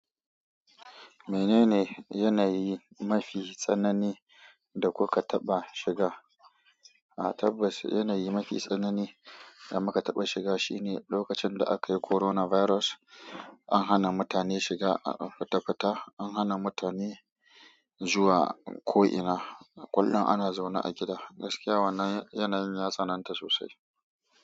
Menene yanayi mafi tsanani da kuka taɓa shiga? A tabbas yanayi mafi tsanani da muka taɓa shiga shine lokacin da aka yi coronavirus. An hana mutane shiga a fita fita, an hana mutane zuwa ko ina. Kullum ana zaune a gida. Gaskiya wannan yanayin ya tsananta sosai.